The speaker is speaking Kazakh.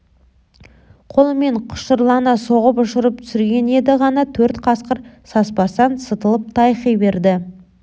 қолымен құшырлана соғып ұшырып түсірген еді ғана төрт қасқыр саспастан сытылып тайқи берді